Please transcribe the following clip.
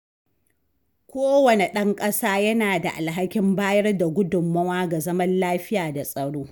Kowanne ɗan ƙasa yana da alhakin bayar da gudunmawa ga zaman lafiya da tsaro.